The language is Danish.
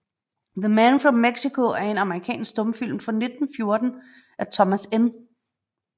The Man from Mexico er en amerikansk stumfilm fra 1914 af Thomas N